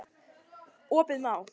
Opið má.